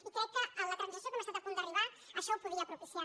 i crec que la transacció que hem estat a punt d’arribar això ho podia propiciar